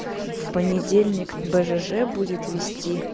в понедельник в бжж будет вести